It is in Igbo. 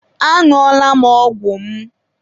Añụọla m ọgwụ m.